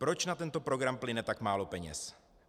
Proč na tento program plyne tak málo peněz?